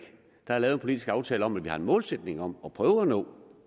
der er lavet en politisk aftale om at vi har en målsætning om at prøve at nå